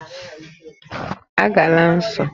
A gala nso!